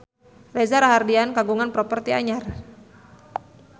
Reza Rahardian kagungan properti anyar